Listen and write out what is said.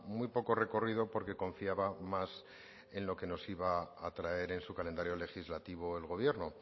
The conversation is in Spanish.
muy poco recorrido porque confiaba más en lo que nos iba a traer en su calendario legislativo el gobierno